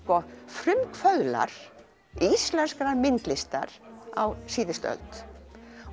frumkvöðlar íslenskrar myndlistar á síðustu öld